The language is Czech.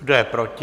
Kdo je proti?